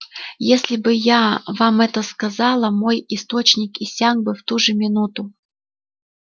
если бы я вам это сказала мой источник иссяк бы в ту же минуту